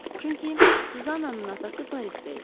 Çünki Suzannanın atası Parisdə idi.